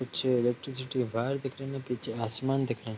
कुछ electricity wire दिख रही ना पीछे आसमान दिख रहा है।